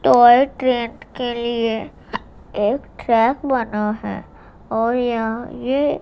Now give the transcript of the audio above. toy train के लिए एक ट्रैक बना है और यहां ये--